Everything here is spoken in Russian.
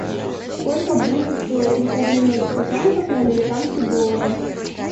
сколько будет стоить если обменять сто франков на американские доллары